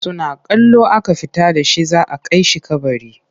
Suna kallo aka fita da shi za a kai shi kabari.